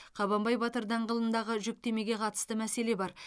қабанбай батыр даңғылындағы жүктемеге қатысты мәселе бар